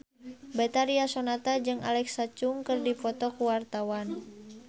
Betharia Sonata jeung Alexa Chung keur dipoto ku wartawan